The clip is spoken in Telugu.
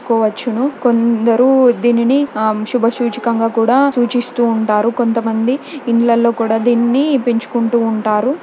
కోవచ్చును కొందరు దీనిని శుభసూచికంగా కూడా సూచిస్తూ ఉంటారు కొంతమంది ఇళ్ళలో లో దీన్ని పెంచుకుంటూ ఉంటారు.